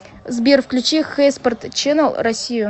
сбер включи хэйспорт ченнэл россию